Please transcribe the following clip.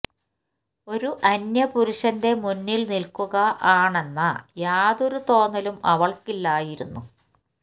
ഒരു അന്യ പുരുഷന്റെ മുന്നില് നില്ക്കുക ആണെന്ന യാതൊരു തോന്നലും അവള്ക്ക് ഇല്ലായിരുന്നു